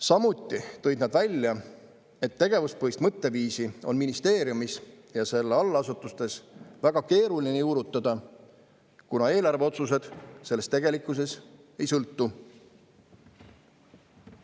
Nad ütlesid ka seda, et tegevuspõhist mõtteviisi on ministeeriumis ja selle allasutustes väga keeruline juurutada, kuna eelarveotsused sellest tegelikkuses ei sõltu.